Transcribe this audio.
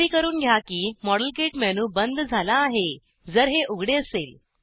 खात्री करून घ्या की मॉडेलकिट मेनू बंद झाला आहे जर हे उघडे असेल